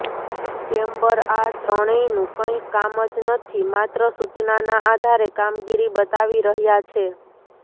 chamber આ ત્રણેયનુ કંઇ કામ જ નથી માત્ર સૂચનાના આધારે કામગીરી બતાવી રહ્યા છે